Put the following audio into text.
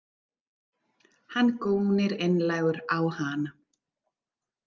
Hann gónir einlægur á hana.